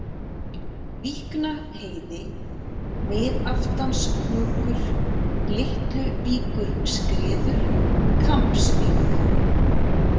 Víknaheiði, Miðaftanshnjúkur, Litluvíkurskriður, Kambsvík